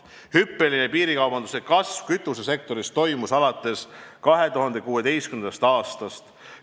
Hüppeline piirikaubanduse kasv kütusesektoris toimus alates 2016. aastast.